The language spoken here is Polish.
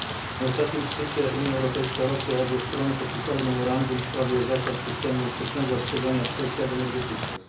Na ostatnim szczycie Unia Europejska Rosja obie strony podpisały memorandum w sprawie zasad systemu wczesnego ostrzegania w kwestiach energetycznych.